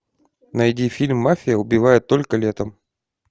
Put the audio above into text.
найди фильм мафия убивает только летом